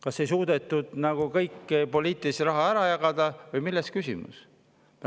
Kas ei suudetud nagu kogu poliitilist raha ära jagada või milles oli küsimus?